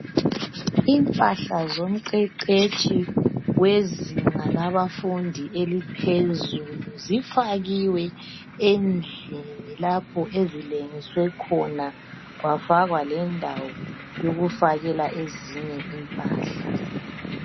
Impahla zomqeqetshi wezinga labafundi eliphezulu zifakiwe endlini lapho ezilengiswe khona kwafakwa lendawo yokufakela ezinye impahla.